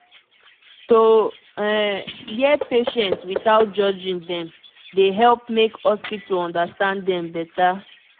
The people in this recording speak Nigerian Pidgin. to um hear patient without judging dem dey help make hospital understand dem beta